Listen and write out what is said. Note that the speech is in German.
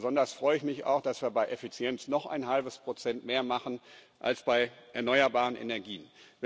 Besonders freue ich mich auch, dass wir bei Effizienz noch ein halbes Prozent mehr machen als bei erneuerbaren Energien.